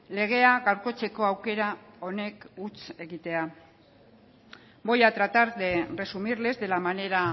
legea gaurkotzeko aukera honek huts egitea voy a tratar de resumirles de la manera